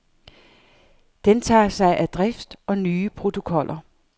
Den tager sig af drift og nye protokoller.